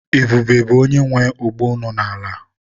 Ebube bụ onye nwe ogbo nọ n'ala.